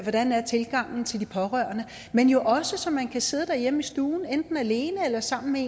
hvordan er tilgangen til de pårørende men jo også så man kan sidde derhjemme i stuen enten alene eller sammen med